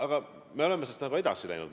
Aga me oleme sellest edasi läinud.